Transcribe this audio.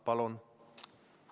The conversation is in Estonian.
Palun!